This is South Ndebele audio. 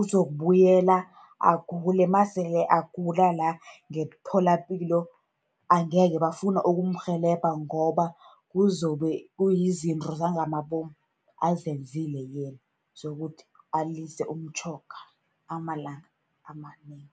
uzokubuyela agule. Nasele agula la, ngemtholapilo angeke bafuna ukumrhelebha, ngoba kuzobe kuyizinto zangamabomu azenzile yena, zokuthi alise umtjhoga amalanga amanengi.